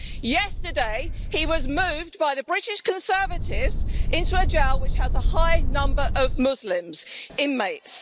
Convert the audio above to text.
Yesterday, he was moved by the British Conservatives into a jail which has a high number of Muslim inmates.